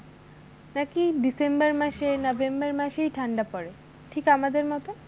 নাকি december মাসে november মাসেই ঠান্ডা পড়ে ঠিক আমাদের মতন,